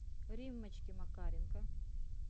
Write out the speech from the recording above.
риммочке макаренко